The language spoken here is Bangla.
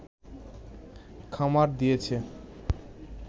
খামার দিয়েছে